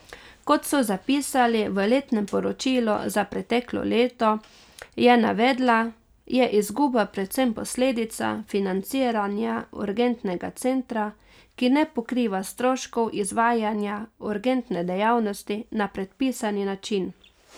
Kot so zapisali v letnem poročilu za preteklo leto, je navedla, je izguba predvsem posledica financiranja urgentnega centra, ki ne pokriva stroškov izvajanja urgentne dejavnosti na predpisani način.